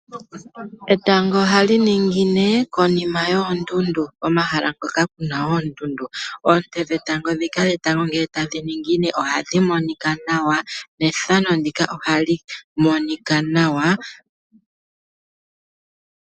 Etango ohali ningine konima yoondundu omahala ngoka kuna oondundu, oonte dhetango dhika ngele etago taliningine ohadhi monika nawa nethano ndika ohali monika nawa.